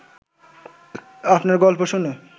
আপনার গল্প শুনে